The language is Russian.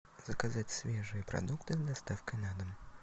заказать свежие продукты с доставкой на дом